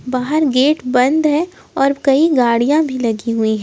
बाहर गेट बंद है और कई गाड़ियां भी लगी हुई हैं।